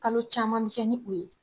Kalo caman fɛn ni u ye